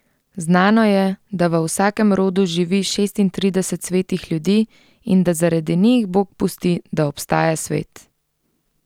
Znano je, da v vsakem rodu živi šestintrideset svetih ljudi in da zaradi njih Bog pusti, da obstaja svet.